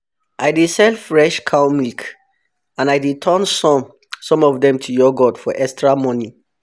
i dey sell fresh cow milk and i dey turn some some of dem to yoghurt for extra money